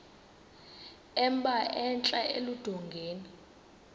emba entla eludongeni